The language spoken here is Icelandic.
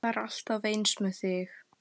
Það er alltaf eins með þig!